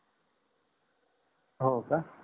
होका